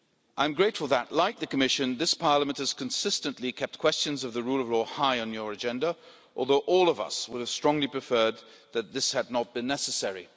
I am grateful that, like the Commission, this Parliament has consistently kept questions of the rule of law high on its agenda, although all of us would have strongly preferred that this had not been necessary.